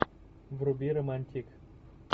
вруби романтик